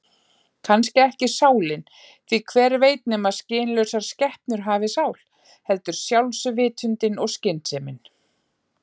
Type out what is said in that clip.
Kannski ekki sálin, því hver veit nema skynlausar skepnur hafi sál, heldur sjálfsvitundin og skynsemin.